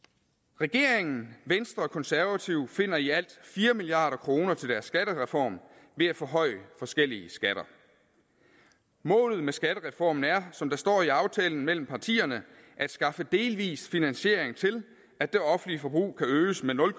regeringen venstre og konservative finder i alt fire milliard kroner til deres skattereform ved at forhøje forskellige skatter målet med skattereformen er som der står i aftalen mellem partierne at skaffe delvis finansiering til at det offentlige forbrug kan øges med nul